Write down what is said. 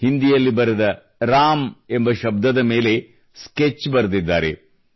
ಹಿಂದಿಯಲ್ಲಿ ಬರೆದ ರಾಮ್ ಎಂಬ ಶಬ್ದದ ಮೇಲೆ ಸ್ಕೆಚ್ ಬರೆದಿದ್ದಾರೆ